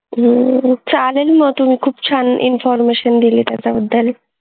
हम्म चालेल मग तुम्ही खूप छान हम्म information दिली त्याच्याबद्दल